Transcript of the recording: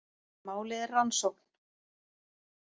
Málið er rannsókn